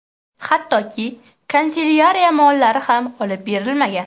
Hattoki kanselyariya mollari ham olib berilmagan.